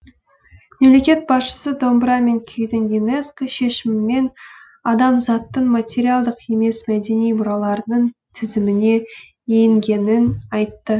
мемлекет басшысы домбыра мен күйдің юнеско шешімімен адамзаттың материалдық емес мәдени мұраларының тізіміне енгенін айтты